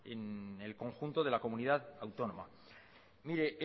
en el conjunto de la comunidad autónoma mire